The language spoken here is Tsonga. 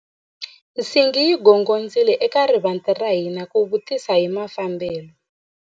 Nsingi yi gongondzile eka rivanti ra hina ku vutisa hi mafambelo.